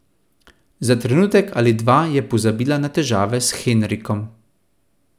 Za trenutek ali dva je pozabila na težave s Henrikom.